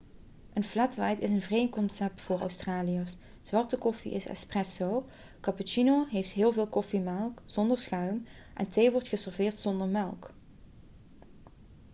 een 'flat white' is een vreemd concept voor australiërs. zwarte koffie is 'espresso' cappuccino heeft heel veel koffiemelk zonder schuim en thee wordt geserveerd zonder melk